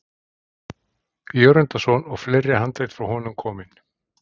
Jörundarson og fleiri handrit frá honum komin.